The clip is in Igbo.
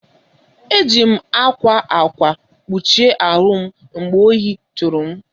Eji m ákwá ákwà kpuchie ahụ m mgbe ohi tụrụ m.